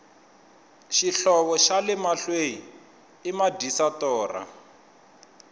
xihlovo xale mahlwei i madyisa torha